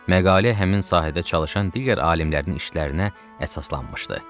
Məqalə həmin sahədə çalışan digər alimlərin işlərinə əsaslanmışdı.